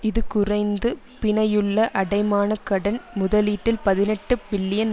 இது குறைந்த பிணையுள்ள அடைமானகடன் முதலீட்டில் பதினெட்டு பில்லியன்